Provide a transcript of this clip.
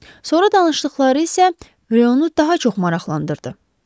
Sonra danışdıqları isə reyonu daha çox maraqlandırdı.